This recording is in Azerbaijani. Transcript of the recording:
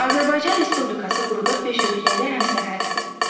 Azərbaycan Respublikası quruda beş ölkəyə də həmsərhəddir.